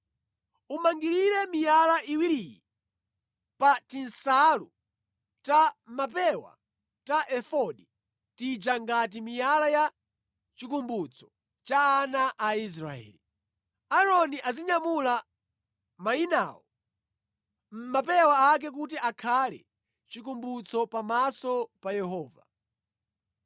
Umangirire miyala iwiriyi pa tinsalu ta mʼmapewa ta efodi tija ngati miyala ya chikumbutso cha ana a Israeli. Aaroni azinyamula mayinawo mʼmapewa ake kuti akhale chikumbutso pamaso pa Yehova.